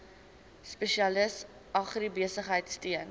spesialis agribesigheid steun